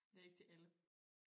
Det ikke til alle